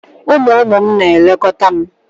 Ụmụ ụmụ m na-elekọta m.